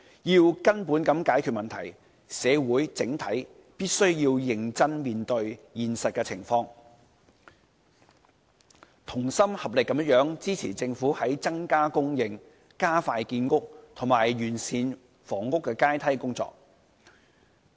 要根本解決問題，社會整體必須認真面對現實情況，同心合力支持政府增加供應、加快建屋，以及完善房屋階梯的工作。